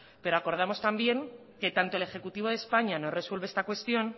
pero acordamos también que tanto el ejecutivo de españa no resuelva esta cuestión